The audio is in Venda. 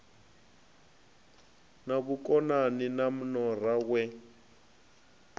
na vhukonani na nora we